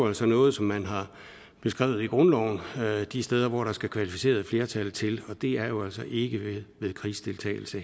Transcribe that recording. altså noget som man har beskrevet i grundloven de steder hvor der skal kvalificeret flertal til og det er jo altså ikke ved krigsdeltagelse